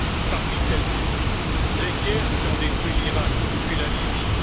Parmi celles ci, les guerres qui ont détruit l'Iraq, puis la Libye.